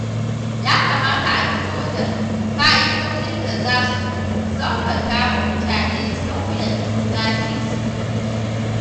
Ya kamata a fito da ƙa'idojin da za su sauƙaƙa wa mutane sauya lasisin tuƙi.